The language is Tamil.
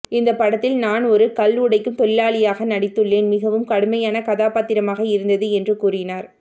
இந்த படத்தில் நான் ஒரு கல் உடைக்கும் தொழிலாளியாக நடித்துள்ளேன் மிகவும் கடுமையான கதாபாத்திரமாக இருந்தது என்று கூறினார்